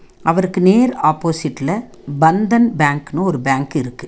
அவருக்கு நேர் ஆப்போசிட்ல பந்தன் பேங்க்னு ஒரு பேங்க் இருக்கு.